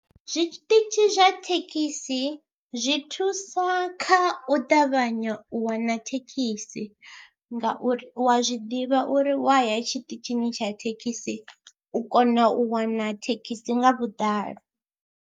Zwiṱitshi zwa thekhisi zwi thusa kha u ṱavhanya u wana thekhisi ngauri u wa zwi ḓivha uri wa ya tshiṱitshini tsha thekhisi u kona u wana thekhisi nga vhuḓalo.